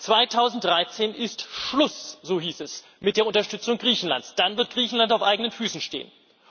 2013 ist Schluss so hieß es mit der Unterstützung Griechenlands, dann wird Griechenland auf eigenen Füßen stehen.